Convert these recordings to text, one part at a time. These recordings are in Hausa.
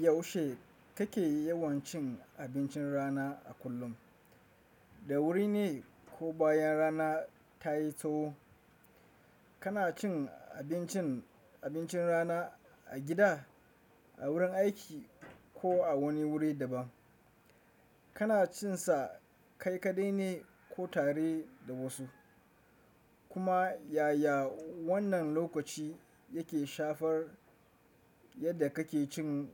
Yaushe kake yawan cin abincin rana a kullum? Da wuri ne ko bayan rana ta yi tsaho? Kana cin abincin, abincin rana a gida, a wurin aiki ko a wani wuri daban? Kana cin sa kai kaɗai ne ko tare da wasu? Kuma yaya wannan lokaci yake shafar yadda kake cin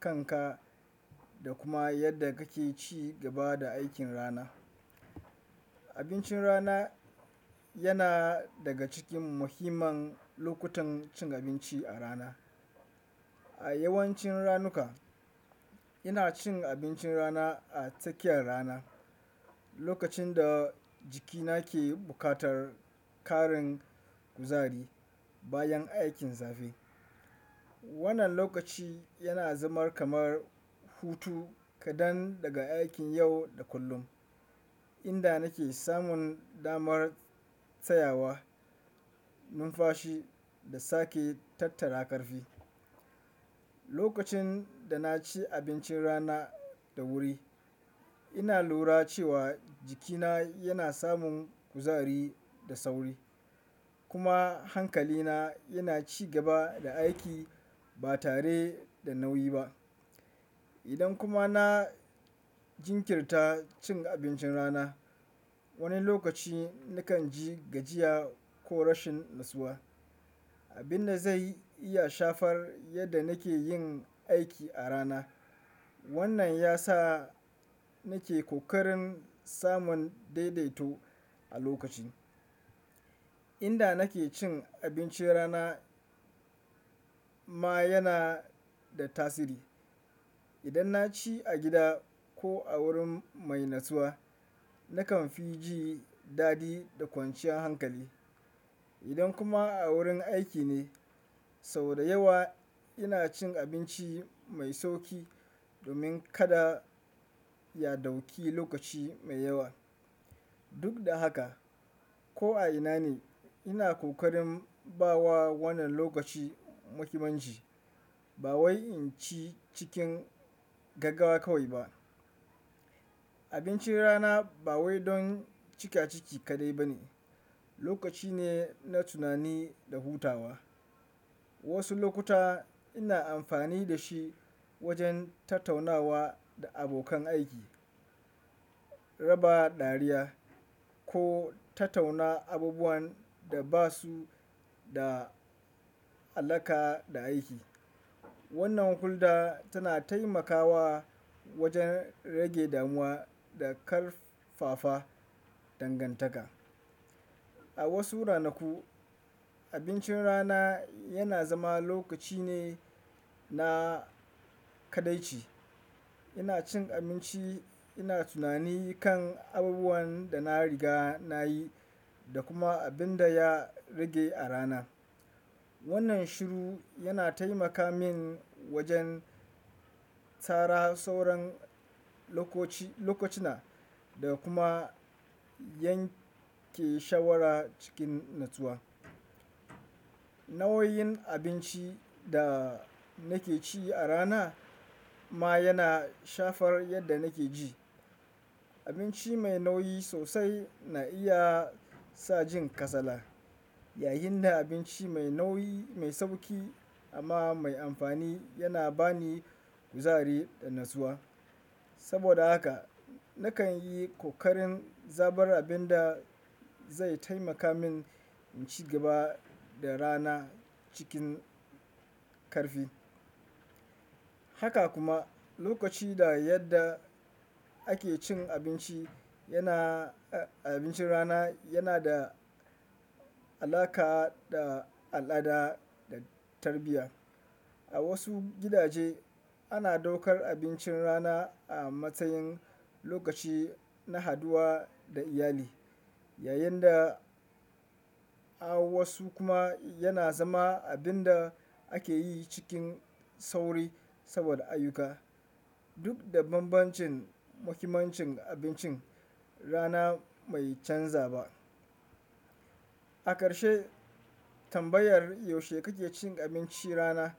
kanka da kuma yadda kake ci gaba da aikin rana? Abincin rana yana daga cikin muhimman lokutan cin abinci a rana. A yawancin ranuka, ina cin abincin rana a tsakiyar rana, lokacin da jikina ke buƙatar ƙarin kuzari bayan aikin zafi. Wannan lokaci yana zama kamar hutu kaɗan daga aikin yau da kullum, inda nake samun damar tsayawa, numfashi da sake tattara ƙarfi. Lokacin da na ci abincin rana da wuri, ina lura cewa jikina yana samun kuzari da sauri kuma hankalina yana ci gaba da aiki ba tare da nauyi ba. Idan kuma na jinkirta cin abincin rana, wani lokaci nakan ji gajiya ko rashin natsuwa, abin da zai iya shafar yadda nake yin aiki a rana. Wannan ya sa nake ƙoƙarin samun daidaito a lokaci. Inda nake cin abincin rana ma yana da tasiri. Idan na ci a gida ko a wurin mai natsuwa, nakan fi ji daɗi da kwanciyar hankali. Idan kuma a wurin aiki ne, sau da yawa ina cin abinci mai sauƙi domin kada ya ɗauki lokaci mai yawa. Duk da haka, ko a ina ne, ina ƙoƙarin bawa wannan lokaci muhimanci ba wai in ci cikin gaggawa kawai ba. Abincin rana ba wai don cika ciki kaɗai ba ne, lokaci ne na tunani da hutawa. Wasu lokuta ina amfani da shi wajen tattaunawa da abokan aiki, raba dariya ko tattauna abubuwan da ba su da alaƙa da aiki. Wannan hulɗa tana taimakawa wajen rage damuwa da ƙarfafa dangantaka. A wasu ranaku, abincin rana yana zama lokaci ne na kaɗaici. Ina cin abinci, ina tunani kan abubuwan da na riga na yi da kuma abin da ya rage a rana. Wannan shiru yana taimaka min wajen tsara sauran lokoci, lokucina da kuma yanke shawara cikin natsuwa. Nau'o'in abinci da nake ci a rana ma yana shafar yadda nake ji. Abinci mai nauyi sosai na iya sa jin kasala, yayin da abinci mai nauyi mai sauƙi amma mai amfani yana ba ni kuzari da natsuwa. Saboda haka, nakan yi ƙoƙarin zabar abin da zai taimaka min in ci gaba da rana cikin ƙarfi. Haka kuma lokaci da yadda ake cin abinci yana, abincin rana yana da alaƙa da al'ada da tarbiyya. A wasu gidaje, ana ɗaukar abincin rana a matsayin lokaci na haduwa da iyali, yayin da a wasu kuma yana zama abin da ake yi cikin sauri saboda ayyuka. Duk da bambancin, mahimmancin abincin rana bai canza ba. A ƙarshe, tambayar yaushe kake cin abinci rana?